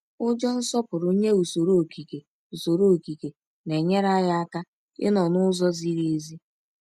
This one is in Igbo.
Ụjọ nsọpụrụ nye usoro okike usoro okike na-enyere anyị aka ịnọ n’ụzọ ziri ezi.